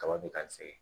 Kaba bɛ ka sɛgɛn